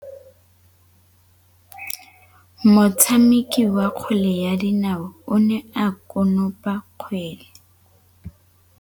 Motshameki wa kgwele ya dinaô o ne a konopa kgwele.